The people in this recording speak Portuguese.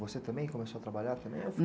Você também começou a trabalhar